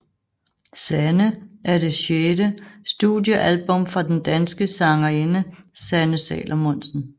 Sanne er det sjette studiealbum fra den danske sangerinde Sanne Salomonsen